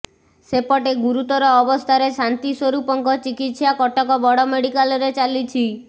ସେପଟେ ଗୁରୁତର ଅବସ୍ଥାରେ ଶାନ୍ତିସ୍ୱରୂପଙ୍କ ଚିକିତ୍ସା କଟକ ବଡ଼ ମେଡିକାଲରେ ଚାଲିଛି